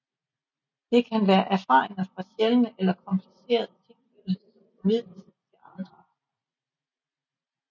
Det kan være erfaringer fra sjældne eller komplicerede tilfælde som formidles til andre